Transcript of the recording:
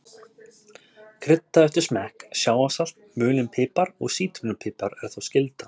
Kryddaðu eftir smekk, sjávarsalt, mulinn pipar og sítrónu pipar er þó skylda.